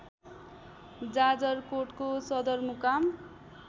जाजरकोटको सदरमुकाम